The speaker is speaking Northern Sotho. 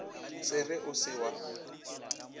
se re o se wa